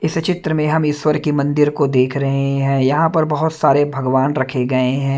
इस चित्र में हम ईश्वर के मंदिर को देख रहे है यहां पर बहोत सारे भगवान रखे गए हैं।